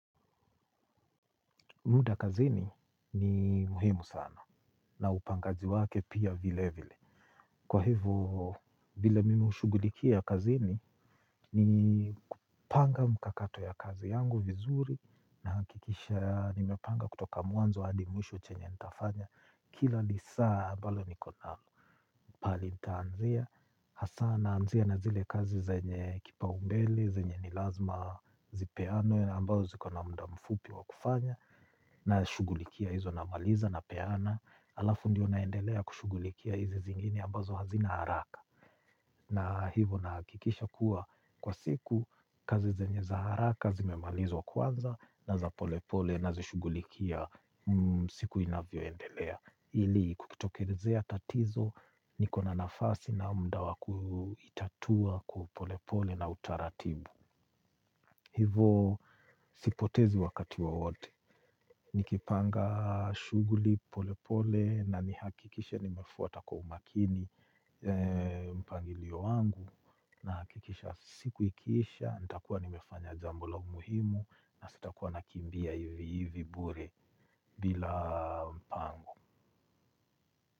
Muda kazini ni muhimu sana na upangaji wake pia vilevile. Kwa hivyo, vile mimi hushughulikia kazini ni kupanga mkakato ya kazi yangu vizuri nahakikisha nimepanga kutoka mwanzo hadi mwisho chenye nitafanya kila lisaa ambalo niko nalo. Pahali nitaanzia, hasa naanzia na zile kazi zenye kipaumbele, zenye ni lazima zipeanwe ambazo ziko na muda mfupi wa kufanya. Nashughulikia hizo namaliza napeana halafu ndiyo naendelea kushughulikia hizi zingine ambazo hazina haraka. Na hivyo nahakikisha kuwa kwa siku kazi zenye za haraka zimemalizwa kwanza na za polepole nazishughulikia siku inavyoendelea ili kukitokelezea tatizo niko na nafasi na muda wa kuitatua kwa polepole na utaratibu. Hivyo sipotezi wakati wowote. Nikipanga shughuli polepole na nihakikishe nimefuata kwa umakini mpangilio wangu nahakikisha siku ikiisha nitakuwa nimefanya jambo la umuhimu na sitakuwa nakimbia hivi hivi bure bila mpango.